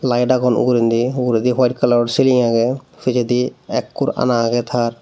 laed agon ugurendi uguredi howite kalaror siri agey pijedi ekkur ana agey tar.